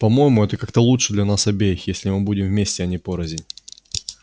по-моему это как-то лучше для нас обеих если мы будем вместе а не порознь